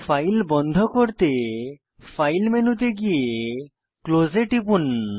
file বন্ধ করতে file মেনুতে গিয়ে ক্লোজ এ টিপুন